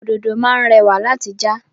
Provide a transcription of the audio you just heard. Òdòdó máá ń rẹ̀wà láti já.